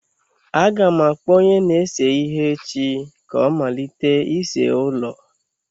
Aga m akpọ onye na-ese ihe echi ka ọ malite ịse ụlọ.